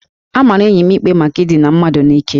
A mara enyi m ikpe maka idina mmadụ n'ike